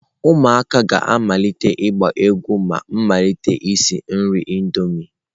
Ụmụaka ga-amalite ịgba egwu ma m malite isi nri Indomie.